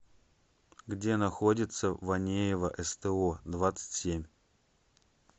где находится ванеева сто двадцать семь